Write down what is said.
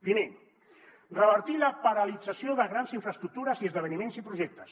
primer revertir la paralització de grans infraestructures i esdeveniments i projectes